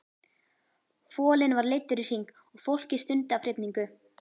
Folinn var leiddur í hring og fólkið stundi af hrifningu.